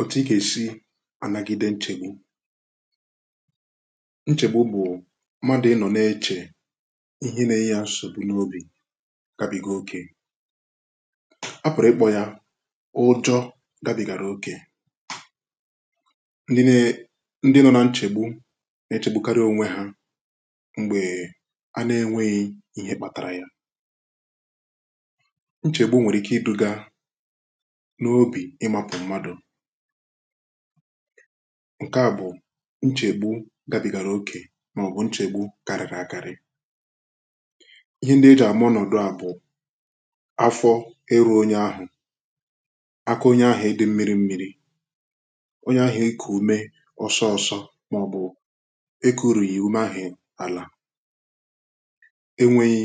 ọtụtụ ị ga-èsi n’anagide nchègbu nchègbu bụ̀ mmadụ̀ ị nọ̀ na-eche ihe nee ya n’obì n’obì gabigo okè apụ̀rụ̀ ikpọ ya ụjọ gabìgàrà okè ndị nọ na nchègbu nà-echegbukarị onwe ha mgbè a na-enweghị ihe kpatara ya nchègbu nwèrè ike idu̇gà ǹke à bụ̀ nchègbu gabigàrà òkè màọ̀bụ̀ nchègbu kàrị̀rị̀ àkarị ihe ndị e jàm ọnọ̀dụ à bụ̀ afọ ịrụ̇ onye ahụ̀ aka onye ahụ̀ ịdị̇ mmiri mmiri̇ onye ahụ̀ ike ume ọsọọsọ màọ̀bụ̀ eki urù yì ume ahụ̀ alà e nweghì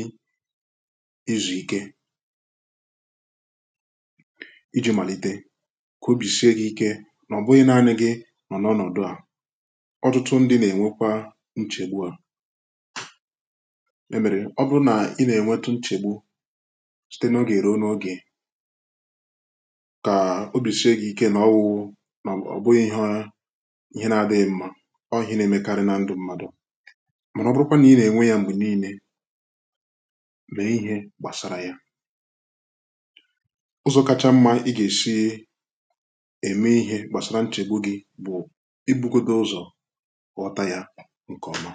izù ike ka obi sie ga-ike na ọ bụghị na anyị gị nọ n’ọnọdụ a ọtụtụ ndị na-enwekwa nchegbu a emere ọ bụrụ na ị na-enweta nchegbu site na oge eruola oge ka obi sie ga-ike na ọwụwụ ma ọ bụghị ihe ihe na-adịghị mma ọ ihe na-emekarị na ndụ mmadụ mara ọ bụrụkwa na ị na-enwe ya mgbe niile mee ihe gbasara ya ụzọ kacha mma i ga-esie kpàsàrà nchè gbụ̀ gị bụ̀ ibugote ụzọ̀ ghọta ya nke ọma